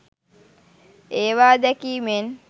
ඒවා දැකීමෙන්